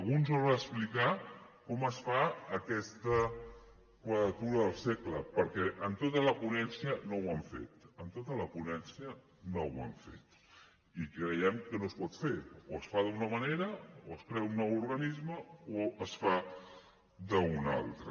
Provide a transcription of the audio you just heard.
algú ens haurà d’explicar com es fa aquesta quadratura del cercle perquè en tota la ponència no ho han fet en tota la ponència no ho han fet i creiem que no es pot fer o es fa d’una manera o es crea un nou organisme o es fa d’una altra